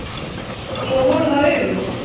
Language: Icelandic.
Svo voru það augun.